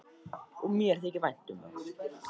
Og mér þykir vænt um það.